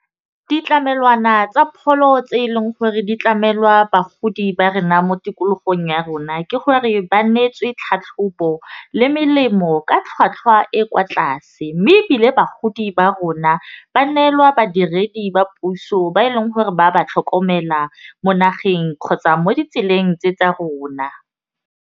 Ditlamelwana tsa pholo tse e leng gore ditlamelwa bagodi ba rena mo tikologong ya rona ke gore, ba neetswe tlhatlhobo le melemo ka tlhwatlhwa e kwa tlase, mme ebile bagodi ba rona ba neelwa badiredi ba puso ba e leng gore ba ba tlhokomela mo nageng kgotsa mo ditseleng tse tsa rona.